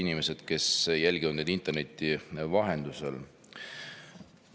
Head inimesed, kes te jälgite meid interneti vahendusel!